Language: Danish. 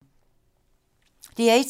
DR1